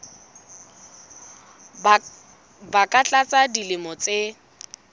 ba ka tlasa dilemo tse